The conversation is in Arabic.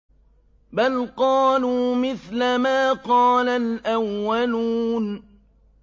بَلْ قَالُوا مِثْلَ مَا قَالَ الْأَوَّلُونَ